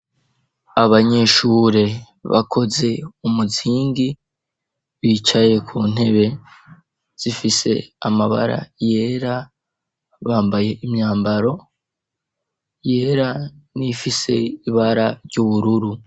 Abanyeshure bakoze umuzingi bicaye ku ntebe zifise amabara yera bambaye imyambaro yera nifise ibara ry'ubururu.